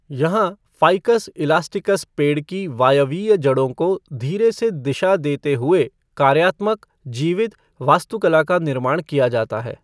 यहाँ, ficus elasticus पेड़ की वायवीय जड़ों को धीरे से दिशा देते हुए कार्यात्मक, जीवित, वास्तुकला का निर्माण किया जाता है।